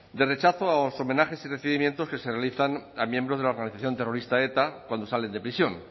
de rechazo a los homenajes y recibimientos que se realizan a miembros de la organización terrorista eta cuando salen de prisión